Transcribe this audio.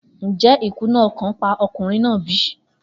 Njẹ ikuna ọkan pa ọkunrin naa bi?